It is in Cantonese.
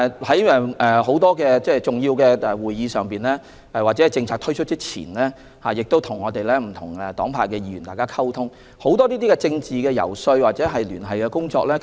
在很多重要會議上或在政策推出前，他們要與不同黨派的議員溝通，進行政治遊說或聯繫工作。